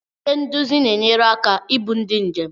Ndị nduzi na-enyere aka ibu ndị njem.